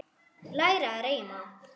Læra að reima